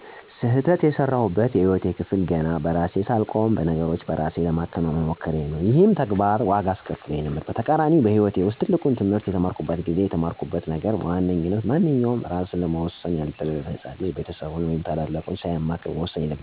ስህተት የሰራሁበት የህይወት ክፍሌ ገና በራሴ ሳልቆም ነገሮችን በእራሴ ለማከናወን መሞከሬ ነበር። ይሄም ተግባር ዋጋ አስከፍሎኝ ነበር። በተቃራኒውም በህይወቴ ውስጥ ትልቁን ትህምርት የተማርኩት ጊዜ ነበር። የተማርኩት ነገርም በዋነኝነት ማንኛውም በእራሱ ለመወሠን ያልደረሰ ህፃን ልጅ ቤተሰቦቹን ወይም ትልልቅ ሰዎችን ሳያማክር በእራሱ ብቻ መወሰን እንደሌለበት፤ ችግሮችን በስሜታዊነት ለመፍታት ከመሞከር በደንብ አስቦ ሌሎች በእውቀት ሆነ በእድሜ ከእኛ በተሻሉ ሰዎች መመከር እንዳለብን ነው። በአሁኑም ሰዓት አንድ ችግር ሲገጥመኝ ከኔ ከተሻሉ ሰዎች ልምድን እወስዳለሁ ከዉሳኔ በፊት ማለት ነው።